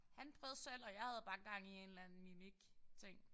Han prøvede selv og jeg havde bare gang i en eller anden mimik ting